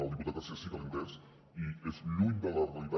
al diputat garcía sí que l’he entès i és lluny de la realitat